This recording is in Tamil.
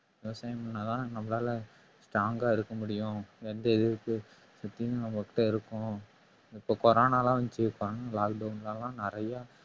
விவசாயம் பண்ணா தான் நம்மளால strong ஆ இருக்க முடியும் எந்த இதுக்கு நம்மகிட்ட இருக்கும் இப்ப corona லாம் வந்துச்சு lockdown ல எல்லாம் நிறைய